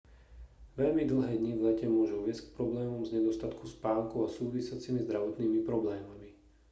veľmi dlhé dni v lete môžu viesť k problémom z nedostatku spánku a súvisiacimi zdravotnými problémami